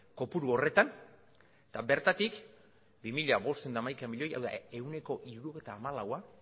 kopuru horretan eta bertatik bi mila bostehun eta hamaika milioi hau da ehuneko hirurogeita hamalaua